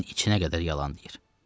Gözünün içinə qədər yalan deyir.